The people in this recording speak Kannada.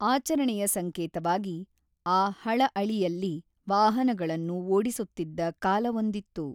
ಆಚರಣೆಯ ಸಂಕೇತವಾಗಿ ಆ ಹಳಅಳಿಯಲ್ಲಿ ವಾಹನಗಳನ್ನು ಓಡಿಸುತ್ತಿದ್ದ ಕಾಲವೊಂದಿತ್ತು.